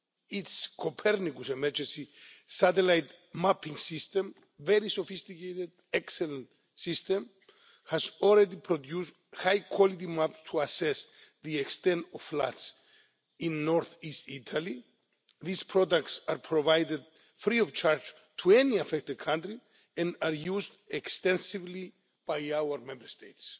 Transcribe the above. its Copernicus emergency satellite mapping system a very sophisticated and excellent system has already produced high quality maps to assess the extent of floods in Northeast Italy. These products are provided free of charge to any affected country, and are used extensively by our Member States.